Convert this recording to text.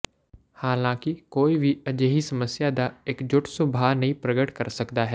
ਹਾਲਾਂਕਿ ਕੋਈ ਵੀ ਅਜਿਹੀ ਸਮੱਸਿਆ ਦਾ ਇਕਜੁਟ ਸੁਭਾਅ ਨਹੀਂ ਪ੍ਰਗਟ ਕਰ ਸਕਦਾ ਹੈ